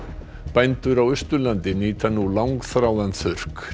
bændur á Austurlandi nýta nú langþráðan